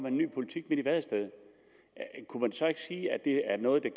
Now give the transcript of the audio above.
en ny politik midt i vadestedet kunne man så ikke sige at det er noget der